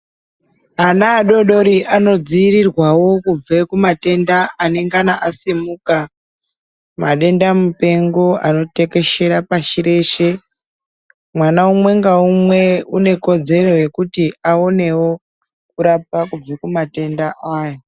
Ana adoodori anodziirirwawo kubve kumatenda anengana asimuka, madenda mupengo anotekeshera pashi reshe. Mwana umwe ngaumwe unekodzero yekuti aonewo kurapwa kubva kumatenda aya.